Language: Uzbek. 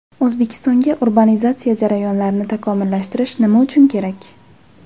O‘zbekistonga urbanizatsiya jarayonlarini takomillashtirish nima uchun kerak?.